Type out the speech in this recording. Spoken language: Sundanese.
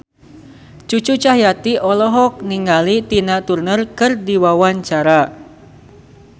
Cucu Cahyati olohok ningali Tina Turner keur diwawancara